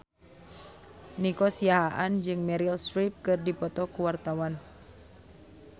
Nico Siahaan jeung Meryl Streep keur dipoto ku wartawan